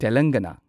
ꯇꯦꯂꯪꯒꯅꯥ